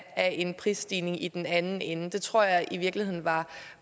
af en prisstigning i den anden ende det tror jeg i virkeligheden var